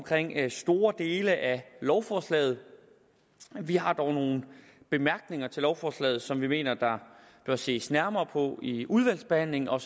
store dele af lovforslaget vi har dog nogle bemærkninger til lovforslaget som vi mener der bør ses nærmere på i udvalgsbehandlingen og